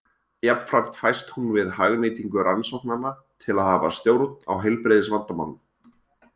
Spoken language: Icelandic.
Jafnframt fæst hún við hagnýtingu rannsóknanna til að hafa stjórn á heilbrigðisvandamálum.